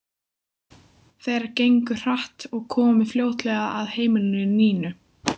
Þeir gengu hratt og komu fljótlega að heimili Nínu.